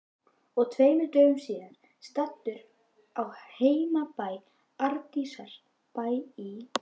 Og tveimur dögum síðar, staddur á heimabæ Arndísar, Bæ í